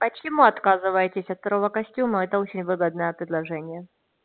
почему отказываетесь от второго костюма это очень выгодное предложение